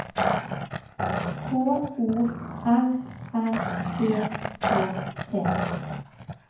K O R R E K T